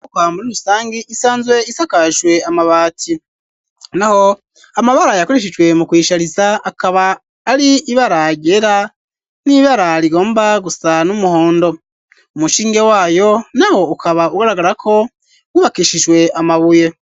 Okohamburi urusange isanzwe isakajwe amabati na ho amabara yakorishijwe mu kwishariza akaba ari ibaragera n'ibararigomba gusa n'umuhondo umushinge wayo na ho ukaba ugaragarako ubakishijwe amabuye.